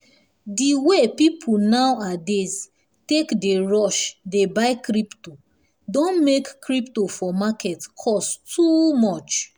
di way people nowadays take dey rush dey buy crypto don make crypo for market cost too much